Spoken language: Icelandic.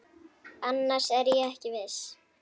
Annars er ég ekki viss.